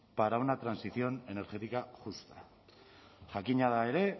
para una transición energética justa jakina da ere